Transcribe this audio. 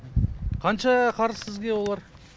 қанша қарыз сізге олар